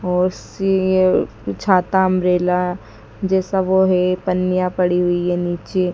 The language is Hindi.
और सीए छाता अंब्रेला जैसा वो हैं पनिया पड़ी हुई हैं नीचे--